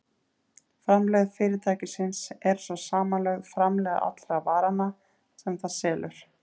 Framlegð fyrirtækisins er svo samanlögð framlegð allra varanna sem það selur.